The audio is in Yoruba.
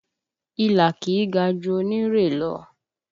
Ilá kì í ga ju onírè lọ